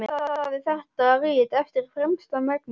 Ég vandaði þetta rit eftir fremsta megni.